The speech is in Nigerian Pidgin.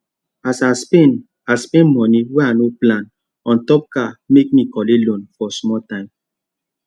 as i spend i spend money wey ino plan ontop car make me collect loan for small time